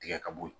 Tigɛ ka bɔ yen